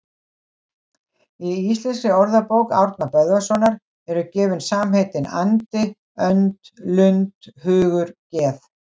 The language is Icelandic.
Í Íslenskri orðabók Árna Böðvarssonar eru gefin samheitin andi, önd, lund, hugur, geð